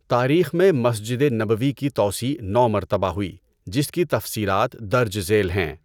تاریخ میں مسجد نبوی کی توسیع نو مرتبہ ہوئی جس کی تفصیلات درج ذیل ہیں۔